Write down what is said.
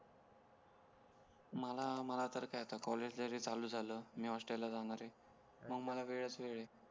मला मला तर आता कॉलेज जरी चालू झाला मी हॉस्टेल ला जाणार आहे मंग मला वेळच वेळ आहे